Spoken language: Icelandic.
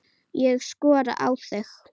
Ég skora á þig!